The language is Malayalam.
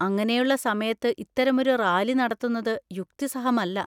അങ്ങനെയുള്ള സമയത്ത് ഇത്തരമൊരു റാലി നടത്തുന്നത് യുക്തിസഹമല്ല.